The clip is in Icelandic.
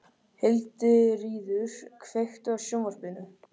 Hildiríður, kveiktu á sjónvarpinu.